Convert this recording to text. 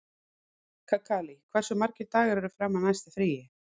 Kakali, hversu margir dagar fram að næsta fríi?